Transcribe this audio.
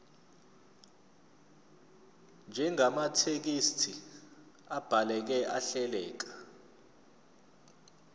njengamathekisthi abhaleke ahleleka